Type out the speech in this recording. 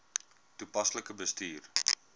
toepaslik bestuur